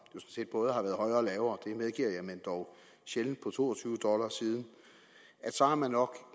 set både har været højere og lavere det medgiver jeg men dog sjældent på to og tyve dollar siden så er man nok